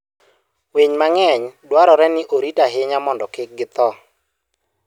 Winy mang'eny dwarore ni orit ahinya mondo kik githo.